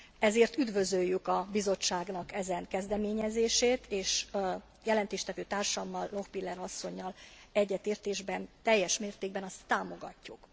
Ezért üdvözöljük a Bizottságnak ezen kezdeményezését, és jelentéstevő társammal Lochbihler asszonnyal egyetértésben teljes mértékben ezt támogatjuk.